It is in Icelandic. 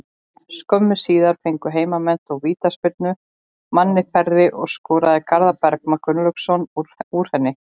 Skömmu síðar fengu heimamenn þó vítaspyrnu, manni færri, og skoraði Garðar Bergmann Gunnlaugsson úr henni.